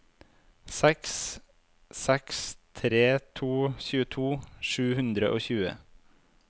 seks seks tre to tjueto sju hundre og tjue